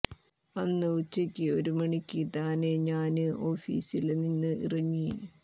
അന്ന് ഉച്ചക്ക് ഒരു മണിക്ക് തനെ ഞാന് ഓഫീസില് നിന്നു ഇറങ്ങി